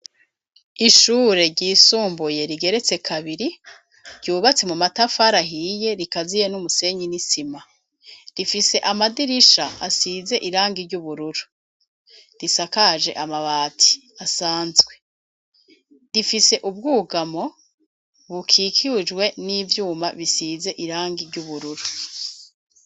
Ishure ryisumbuye rigeretse kabiri ryubatse mu matafarahiye rikaziye n'umusenyi n'isima rifise amadirisha asize irangi ry'ubururu risakaje amabati asanzwe difise ubwugamo bukikujwe n'ivyumba abisize irangi ry'ubururu.